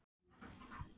Verra gat það verið.